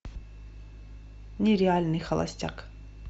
нереальный холостяк